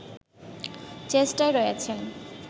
চেষ্টায় রয়েছেন